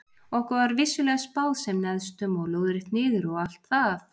Okkur var vissulega spáð sem neðstum og lóðrétt niður og allt það.